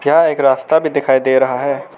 यह एक रास्ता भी दिखाई दे रहा है।